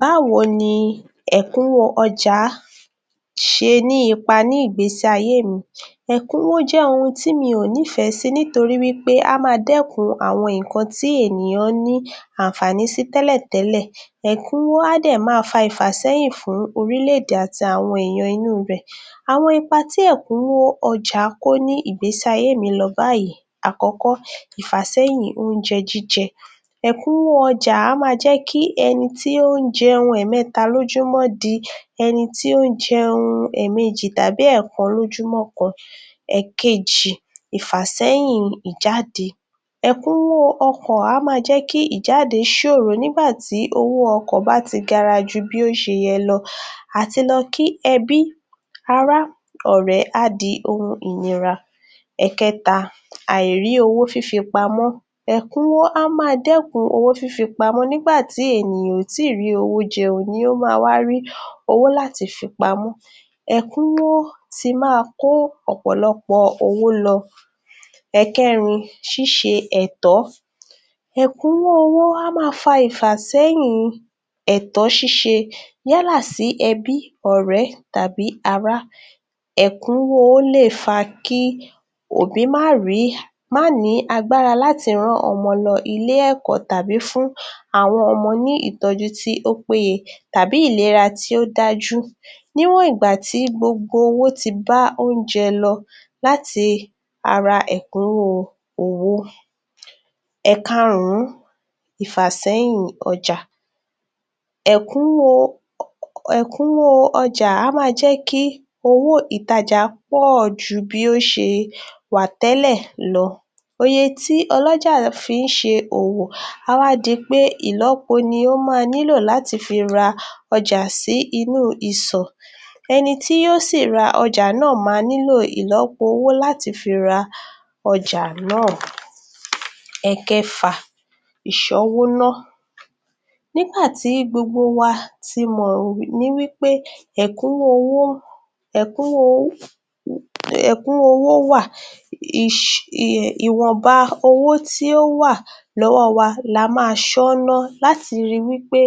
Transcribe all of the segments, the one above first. Báwo ni ẹ̀kúnwó ọjà ṣe ní ipa ní ìgbésí ayé mi? Ẹ̀kúnwó jẹ́ ohun tí mi ò nífẹ̀ẹ́ sí nítorí wí pé á máa dẹ́kun àwọn nǹkan tí ènìyàn ní, àǹfààní si tẹ́lẹ̀ tẹ́lẹ̀. Ẹ̀kúnwó á dẹ̀ máa fa ìfàsẹ́yìn fún orílẹ̀-èdè àti àwọn èèyàn inú ibẹ̀. Àwọn ipa tí ẹ̀kúnwó ọjà kó ní ìgbésí ayé mi lọ báyìí: Àkọ́kọ́, ìfàsẹ́yìn oúnjẹ jíjẹ. Ẹ̀kúnwó ọjà á máa jẹ́ kí ẹni tí ó ń jẹun ẹ̀mẹ́ta lójúmọ́ di ẹni tí ó ń jẹun ẹ̀mejì tàbí èèkàn lójúmọ́ kan. Ẹ̀kejì, ìfàsẹ́yìn ìjáde. Ẹ̀kúnwó ọkàn á máa jẹ́ kí ìjáde ṣòro nígbà tí owó ọkọ̀ bá ti gara ju bí ó ṣe yẹ lọ. Àti lọ kí ẹbí, ará, ọ̀rẹ́ á di ohun ìnira. Ẹ̀kẹ́ta, àìrí owó fífi pamọ́. Ẹ̀kúnwó á máa dẹ́kun owó fífi pamọ́ nígbà tí ènìyàn ò ì tí ì rí owó jẹun ní o ma wá rí owó láti fi pamọ́. Ẹ̀kúnwó tí máa kó ọ̀pọ̀lọpọ̀ owó lọ. Ẹ̀kẹ́rin, ṣíṣe ẹ̀tọ́. Ẹ̀kúnwó owó á máa fa ìfàsẹ́yìn ẹ̀tọ́ ṣíṣe yálà sí ẹbí, ọ̀rẹ́, tàbí ará. Ẹ̀kúnwó owó lè fa kí òbí má rìí má ní agbára láti rán ọmọ lọ ilé-ẹ̀kọ́ tàbí fún àwọn ọmọ ní ìtọ́jú tí ó péye tàbí ìlera tí ó dájú. Níwọ̀n ìgbà tí gbogbo owó ti bá oúnjẹ lọ́ láti ara ẹ̀kúnwó owó. Ẹ̀kaàrún, ìfàsẹ́yìn ọjà. Ẹ̀kúnwó ẹ̀kúnwó ọjà á máa jẹ́ kí owó ìtajà pọ̀ọ̀ ju bí ó ṣe wà tẹ́lẹ̀ lọ. Oye tí ọlọ́jà fi ń ṣe òwò a wá di pé ìlọ́po ni ó máa nílò láti fi ra ọjà sí inú ìsọ̀. Ẹni tí yóò sì ra ọjà náà máa ìlọ́po owó láti fi ra ọjà náà. Ẹ̀kẹfà, ìṣọ́wó ná. Nígbà tí gbogbo wa ti mọ̀ ní wí pé ẹ̀kúnwó owó ẹ̀kúnwó ẹ̀kúnwó owó wà, ìwọ̀nba tí ó wà lọ́wọ́ wa la máa ṣọ́ ná láti ri wí pé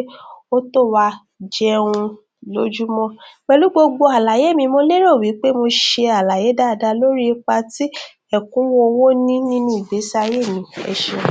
ó tó wa jẹun lójúmọ́. Pẹ̀lú gbogbo àlàyé mi, mo lérò wí pé mo ṣe àlàyé dáadáa lórí ipa tí ẹ̀kúnwó owó ní nínú ìgbésí ayé mi. Ẹ ṣeun.